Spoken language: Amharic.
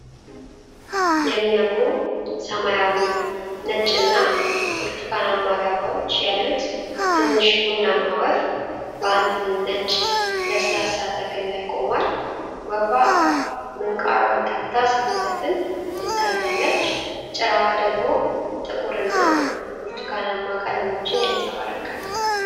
የሚያምሩ ሰማያዊ፣ ነጭና ብርቱካንማ ላባዎች ያሉት ትንሽ ቡናማ ወፍ በአንድ ነጭ ለስላሳ ተክል ላይ ቆሟል። ወፏ ምንቃሯን ከፍታ ስትዘፍን ትታያለች፤ ጭራዋ ደግሞ ጥቁርና ብርቱካንማ ቀለሞችን ያንጸባርቃል።